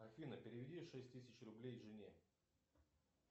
афина переведи шесть тысяч рублей жене